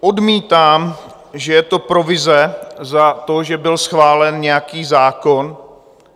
Odmítám, že je to provize za to, že byl schválen nějaký zákon.